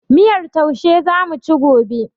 Miyar taushe zamuci gobe